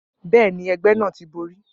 Bẹ́ẹ̀ ni, ẹgbẹ́ náà ti borí.